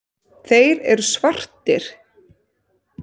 Þeir eru svartir.